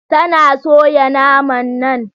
Tana soya naman nan?